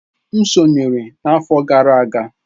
M sonyeere n'afọ gara aga.